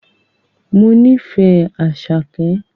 Mo nífẹ̀ẹ́ Àṣàkẹ́